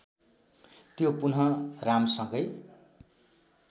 त्यो पुनः रामसँगै